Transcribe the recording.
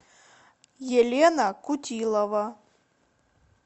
елена кутилова